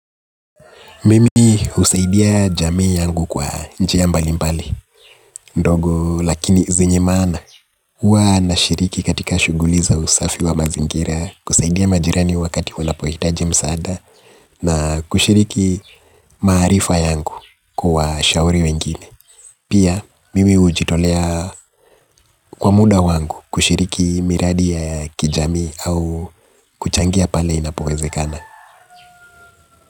Mimi husaidia jamii yangu kwa njia mbali mbali, ndogo lakini zenye maana. Huwa nashiriki katika shughuli za usafi wa mazingira, kusaidia majirani wakati wanapohitaji msaada, na kushiriki maarifa yangu kuwa shauri wengine. Pia, mimi hujitolea kwa muda wangu kushiriki miradi ya kijamii au kuchangia pale inapowezekana.